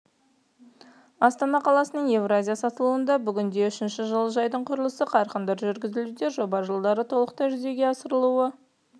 астана қаласының евразия сатылуда бүгінде үшінші жылыжайдың құрылысы қарқынды жүргізілуде жоба жылдары толықтай жүзеге асырылуы